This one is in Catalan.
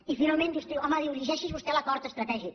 i finalment diu home llegeixi’s vostè l’acord estratègic